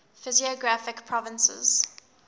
physiographic provinces